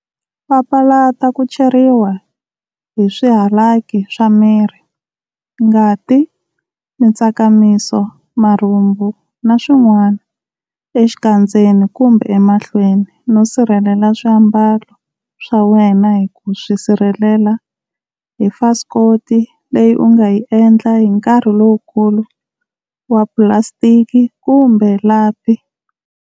Papalata ku cheriwa hi swihalaki swa miri ngati, mitsakamiso, marhumbu, na swin'wana, exikandzeni kumbe emahlweni, no sirhelelela swiambalo swa wena hi ku swi sirhelela hi fasikoti leyi u nga yi endla hi nkarhi lowukulu wa pulasitiki kumbe lapi.